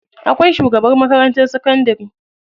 Akwai shugaban makarantar sakandari.